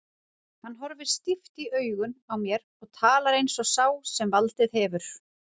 Hann horfir stíft í augun á mér og talar eins og sá sem valdið hefur.